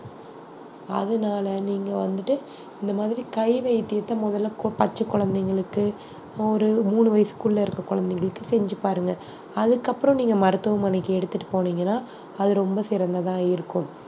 அதனால நீங்க வந்துட்டு இந்த மாதிரி கை வைத்தியத்த முதல்ல கு~ பச்சை குழந்தைகளுக்கு ஒரு மூணு வயசுக்குள்ள இருக்க குழந்தைகளுக்கு செஞ்சு பாருங்க அதுக்கப்புறம் நீங்க மருத்துவமனைக்கு எடுத்துட்டு போனீங்கன்னா அது ரொம்ப சிறந்ததா இருக்கும்